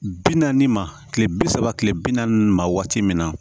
Bi naani ma kile bi saba kile bi naani ma waati min na